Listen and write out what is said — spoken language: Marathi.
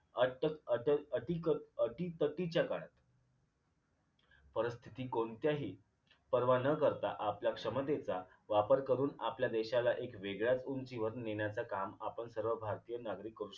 अट अतिक अटक अटीतटीच्या काळात परिस्थिती कोणत्याही पर्वा न करता आपल्या क्षमतेचा वापर करून आपल्या देशाला एक वेगळ्या उंचीवर नेण्याचे काम आपण सर्व भारतीय नागरिक करू शकतो